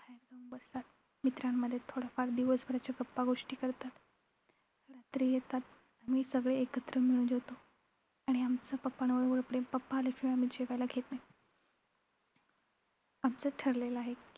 मित्रांमध्ये थोड्याफार दिवसभराच्या गप्पा गोष्टी करतात. रात्री येतात. आम्ही सगळे एकत्र मिळून जेवतो. आणि आमचं papa वर एवढं प्रेम, papa आल्याशिवाय आम्ही जेवायला घेत नाही. आमचं ठरलेलं आहे